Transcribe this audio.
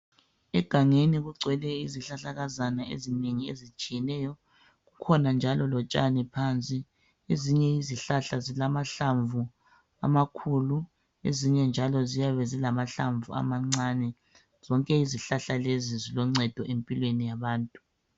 Egangeni kugcwele izihlahlakazana ezinengi ezitshiyeneyo. Kukhona njalo lotshani phansi. Ezinye izihlahla zilamahlamvu amakhulu, ezinye njalo ziyabe zilamahlamvu amancane. Zonke izihlaha lezi ziloncedo empilweni yabantu.